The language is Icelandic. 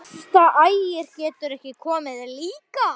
Þú stendur þig vel, Sigurvina!